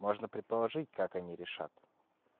можно предположить как они решат